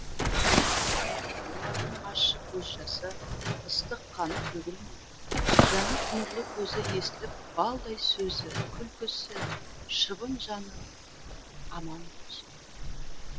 олардың ащы көз жасы ыстық қаны төгілмей жанып нұрлы көзі естіліп балдай сөзі күлкісі шыбын жаны аман болсын